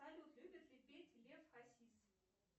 салют любит ли петь лев хасис